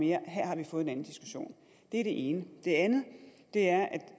mere her har vi fået en anden diskussion det er det ene det andet er